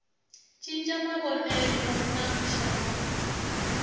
cinca mavonelo na ku xavisa